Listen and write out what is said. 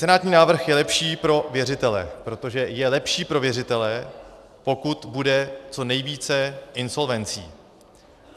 Senátní návrh je lepší pro věřitele, protože je lepší pro věřitele, pokud bude co nejvíce insolvencí.